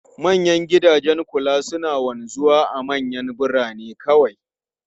Manyan gidajen kula suna wanzuwa a manyan birane kawai.